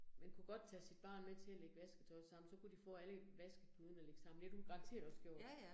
Man kunne godt tage sit barn med, til at lægge vasketøj sammen, så kunne de få alle vaskekludene at lægge sammen, det har du garanteret også gjort